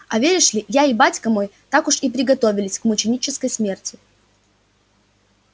а веришь ли я и батька мой так уж и приготовились к мученической смерти